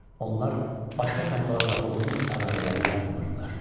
Onlar başqa tayfalarla qohumluq əlaqələri yaratmırdılar.